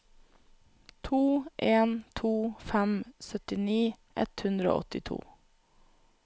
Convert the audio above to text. to en to fem syttini ett hundre og åttito